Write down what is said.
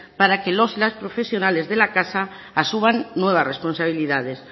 para que los y las profesionales de la casa asuman nuevas responsabilidades